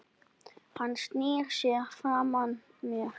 Hann snýr sér frá mér.